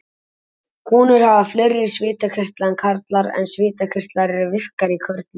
Konur hafa fleiri svitakirtla en karlar en svitakirtlar eru virkari í körlum.